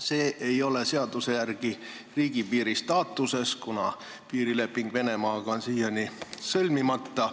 See ei ole seaduse järgi riigipiiri staatuses, kuna piirileping Venemaaga on siiani sõlmimata.